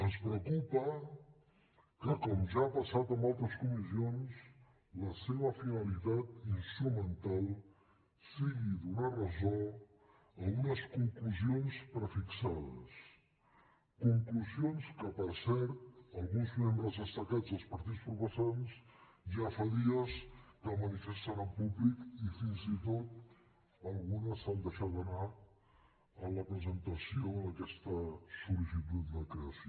ens preocupa que com ja ha passat en altres comissions la seva finalitat instrumental sigui donar ressò a unes conclusions prefixades conclusions que per cert alguns membres destacats dels partits proposants ja fa dies que manifesten en públic i fins i tot algunes s’han deixat anar en la presentació d’aquesta sol·licitud de creació